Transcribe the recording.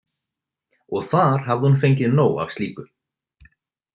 Og þar hafði hún fengið nóg af slíku.